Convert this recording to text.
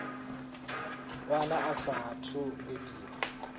wana a saathu u bebiwaho